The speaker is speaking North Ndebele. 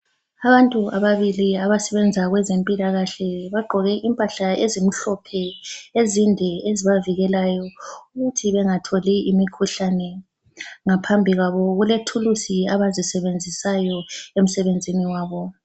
Abantu ababili abasebenza kwezempilakahle bagqoke impahla ezimhlophe ezinde ezibavikelayo ukuthi bengatholi imikhuhlane ngaphambi kwabo kulethulusi abazisebenzisayo emsebenzin wabo.